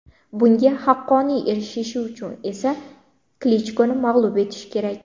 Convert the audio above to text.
Bunga haqqoniy erishishi uchun esa Klichkoni mag‘lub etishi kerak.